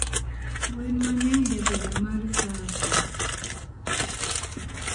gwen mangeny jabedo mar sasso